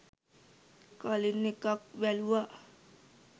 කලින් එකත් බැලුවා